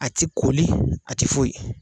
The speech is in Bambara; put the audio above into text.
A tɛ koli a tɛ foyi